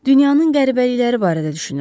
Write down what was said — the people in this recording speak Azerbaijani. Dünyanın qəribəlikləri barədə düşünürəm.